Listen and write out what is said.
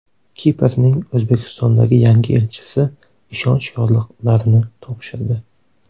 Kiprning O‘zbekistondagi yangi elchisi ishonch yorliqlarini topshirdi.